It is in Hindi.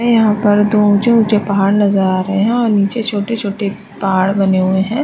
है यहाँ पर दो ऊंचे-ऊंचे पहाड़ नजर आ रहे है और नीचे छोटे-छोटे पहाड़ बने हुए हैं।